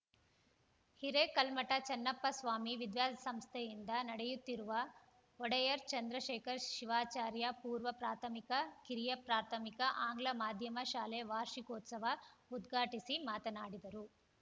ಹಿರೇಕಲ್ಮಠ ಚನ್ನಪ್ಪ ಸ್ವಾಮಿ ವಿದ್ಯಾಸಂಸ್ಥೆಯಿಂದ ನಡೆಯುತ್ತಿರುವ ಒಡೆಯರ್‌ ಚಂದ್ರಶೇಖರ ಶಿವಾಚಾರ್ಯ ಪೂರ್ವ ಪ್ರಾಥಮಿಕ ಕಿರಿಯ ಪ್ರಾಥಮಿಕ ಆಂಗ್ಲ ಮಾಧ್ಯಮ ಶಾಲೆ ವಾರ್ಷಿಕೋತ್ಸವ ಉದ್ಘಾಟಿಸಿ ಮಾತನಾಡಿದರು